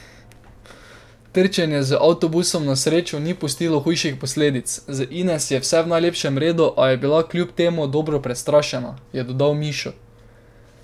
Trčenje z avtobusom na srečo ni pustilo hujših posledic, z Ines je vse v najlepšem redu, a je bila kljub temu dobro prestrašena, je dodal Mišo.